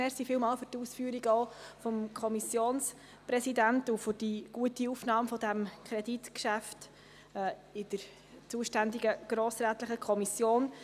Vielen Dank für die Ausführungen des Kommissionssprechers und für die gute Aufnahme dieses Kreditgeschäfts in der zuständigen grossrätlichen Kommission.